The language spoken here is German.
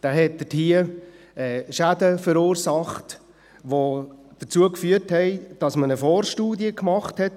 Dieser verursachte dort Schäden, die dazu führten, dass man eine Vorstudie machte.